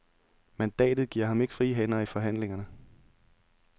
Mandatet giver ham ikke frie hænder i forhandlingerne.